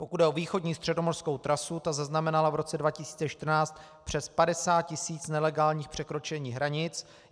Pokud jde o východní středomořskou trasu, ta zaznamenala v roce 2014 přes 50 tis. nelegálních překročení hranic.